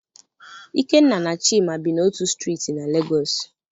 Ikenna na Chima bi n'otu Striiti na Lagos.